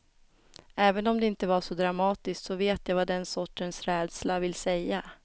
Även om det inte var så dramatiskt, så vet jag vad den sortens rädsla vill säga.